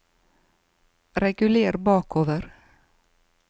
reguler bakover